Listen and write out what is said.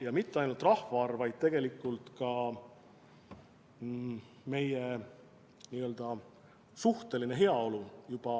Ja mitte ainult rahvaarv, vaid tegelikult ka meie suhteline heaolu juba